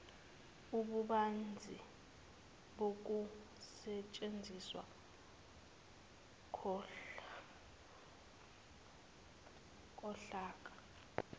ububanzi bokusetshenziswa kohlaka